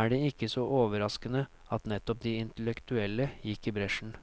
er det ikke så overraskende at nettopp de intellektuelle gikk i bresjen.